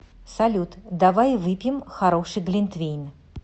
салют давай выпьем хороший глинтвейн